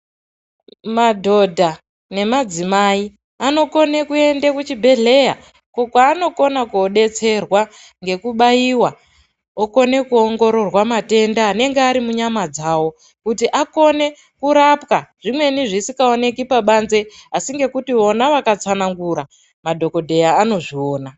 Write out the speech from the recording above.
Madhodha nemadzimai anokona kuenda kuchibhedhleya uko kwaanokona kundodetserwa nekubaiwa vokona kuongororwa matenda anenge ari munyama dzawo kuti akone kurapwa zvimweni zvisingaonekwi pabanze asi ngekuti vona vakatsanangura madhokodheya anozviona.